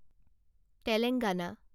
Telangana